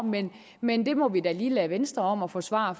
men det må vi da lige lade venstre om at forsvare